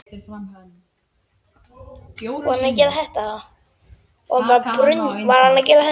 Af hverju ertu svona þrjóskur, Þúfa?